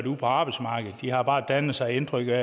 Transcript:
ude på arbejdsmarkedet de har bare dannet sig indtrykkene